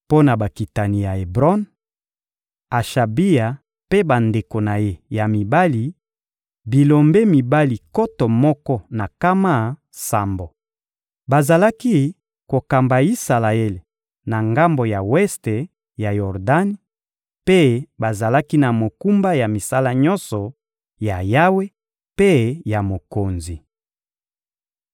Mpo na bakitani ya Ebron: Ashabia mpe bandeko na ye ya mibali, bilombe mibali nkoto moko na nkama sambo. Bazalaki kokamba Isalaele na ngambo ya weste ya Yordani; mpe bazalaki na mokumba ya misala nyonso ya Yawe mpe ya mokonzi.